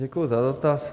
Děkuji za dotaz.